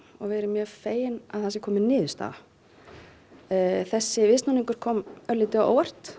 og við erum mjög fegin að það sé komin niðurstaða þessi viðsnúningur kom örlítið á óvart